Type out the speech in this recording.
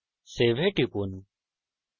save এ টিপুন